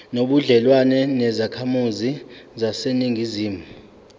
nobudlelwane nezakhamizi zaseningizimu